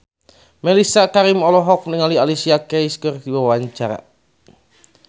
Mellisa Karim olohok ningali Alicia Keys keur diwawancara